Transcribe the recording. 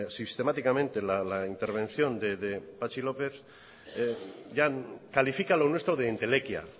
sistemáticamente la intervención de patxi lópez califica lo nuestro de entelequia